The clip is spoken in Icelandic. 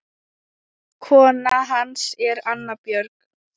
Kona hans er Anna Björg